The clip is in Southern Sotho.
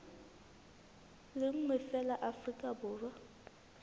le nngwe feela afrika borwa